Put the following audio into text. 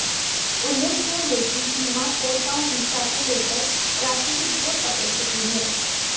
उल्लेखनीय है कि भीमा कोरगांव हिंसा को लेकर राजनीति जोर पकड़ चुकी है